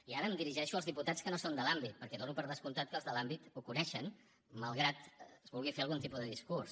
i ara em dirigeixo als diputats que no són de l’àmbit perquè dono per descomptat que els de l’àmbit ho coneixen malgrat que es vulgui fer algun tipus de discurs